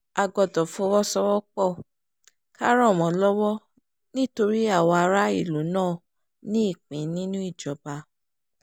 a gbọ́dọ̀ fọwọ́sowọ́pọ̀ ká ràn wọ́n lọ́wọ́ nítorí àwa aráàlú náà ní ìpín nínú ìjọba